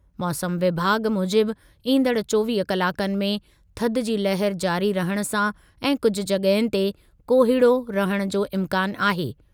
मौसमु विभाॻ मूजिबि ईंदड़ चोवीह कलाकनि में थधि जी लहर जारी रहण सां ऐं कुझु जॻहुनि ते कोहीड़ो रहण जो इम्कानु आहे।